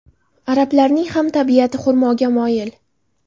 Arablarning ham tabiati xurmoga moyil.